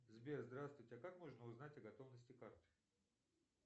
сбер здравствуйте а как можно узнать о готовности карты